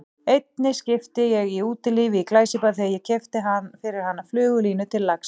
Einni skipti ég í Útilífi í Glæsibæ þegar ég keypti fyrir hana flugulínu til lax